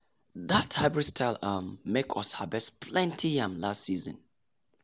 that hybrid style um make us harvest plenty yam last season.